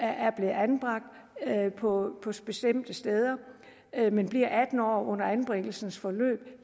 anbragt på bestemte steder men bliver atten år under anbringelsens forløb